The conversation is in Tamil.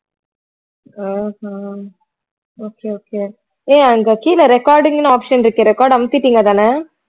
ஆஹ் அஹ் okay okay ஏய் அங்க கீழே recording ன்னு option இருக்கு record அமுத்திட்டீங்கதானே